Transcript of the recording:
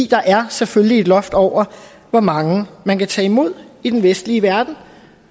der er selvfølgelig et loft over hvor mange man kan tage imod i den vestlige verden